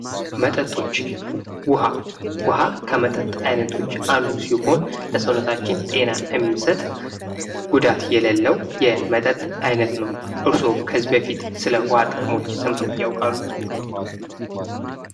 መጠጦች ውሃ ከመጠጥ አይነቶች አንዱ ሲሆን ለሰውነታችን ጤናን የሚሰጥ ጉዳት የሌለው የመጠጥ አይነት ነው። እርሶስ ከዚህ በፊት ስለ ውሃ ጥቅሞች ሰምተው ያውቃሉ።